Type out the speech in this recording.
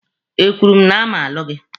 Ekwuru m na a ma-alụ gị?